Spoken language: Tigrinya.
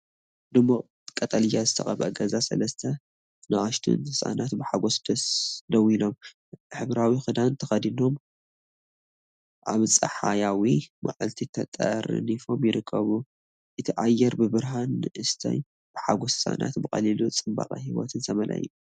ድሙቕ ቀጠልያ ዝተቐብአ ገዛ፡ ሰለስተ ንኣሽቱን ህጻናት ብሓጎስ ደው ኢሎም፣ ሕብራዊ ክዳን ተኸዲኖም ኣብ ጸሓያዊ መዓልቲ ተጠርኒፎም ይርከቡ። እቲ ኣየር ብብርሃን ንእስነት፡ ብሓጎስ ህጻናትን ብቐሊል ጽባቐ ህይወትን ዝተመልአ እዩ።